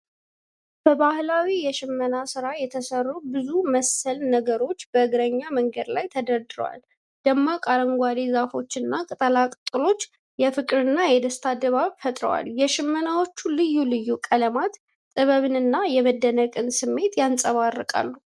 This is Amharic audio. በባህላዊ የሽመና ሥራ የተሰሩ ብዙ መሰል ነገሮች በእግረኛ መንገድ ላይ ተደርድረዋል። ደማቅ አረንጓዴ ዛፎችና ቅጠላቅጠሎች የፍቅርና የደስታ ድባብ ፈጥረዋል። የሽመናዎቹ ልዩ ልዩ ቀለማት ጥበብንና የመደነቅ ስሜትን ያንጸባርቃሉ።